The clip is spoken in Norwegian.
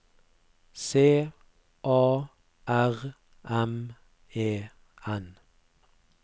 C A R M E N